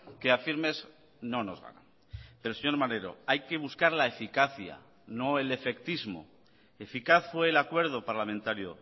que a firmes no nos ganan pero señor maneiro hay que buscar la eficacia no el efectismo eficaz fue el acuerdo parlamentario